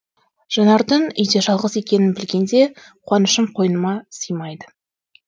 жанардың үйде жалғыз екенін білгенде қуанышым қойныма сыймайды